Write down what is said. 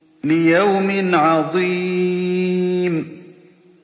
لِيَوْمٍ عَظِيمٍ